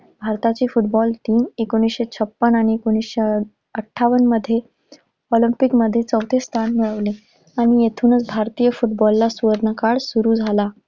भारताची football team एकोणीसशे छप्पन्न आणि एकोणीसशे अठ्ठावन्नमध्ये ऑलिम्पिकमध्ये चवथे स्थान मिळवले आणि इथूनच भारतीय फुटबॉलचा सुवर्णकाळ सुरु झाला.